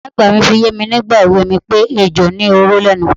Ìyá àgbà fi yé mi nígbà èwe mi pé ejò ní oró lé̩nu.